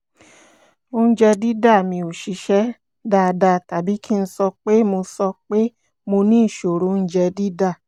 oúnjẹ dídà mi ò ṣiṣẹ́ dáadáa tàbí kí n sọ pé mo sọ pé mo ní ìṣòro oúnjẹ dídà